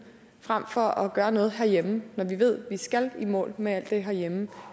frem for at gøre noget herhjemme når vi ved at vi skal i mål med alt det herhjemme